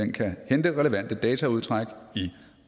kan hente relevante dataudtræk i